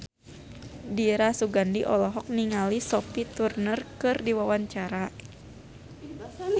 Dira Sugandi olohok ningali Sophie Turner keur diwawancara